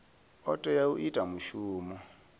o tea u ita mushumo